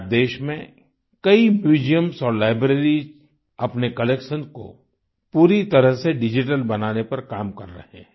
आज देश में कई म्यूजियम्स और लाइब्रेरीज अपने कलेक्शन को पूरी तरह से डिजिटल बनाने पर काम कर रहे हैं